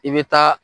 I bɛ taa